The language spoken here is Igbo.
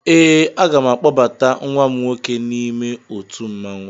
Ee, aga m akpọbata nwa m nwoke n'ime otu mmanwụ